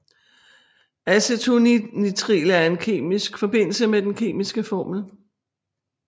Acetonitril er en kemisk forbindelse med den kemiske formel